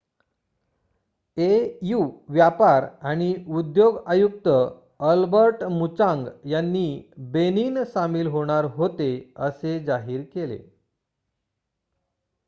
au व्यापार आणि उद्योग आयुक्त अल्बर्ट मुचांग यांनी बेनिन सामील होणार होते असे जाहीर केले